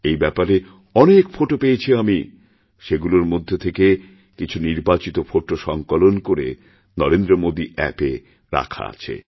এই ব্যাপারে অনেকফোটো পেয়েছি আমি সেগুলোর মধ্যে থেকে কিছু নির্বাচিত ফোটো সঙ্কলন করে নরেন্দ্রমোদী অ্যাপে রাখা আছে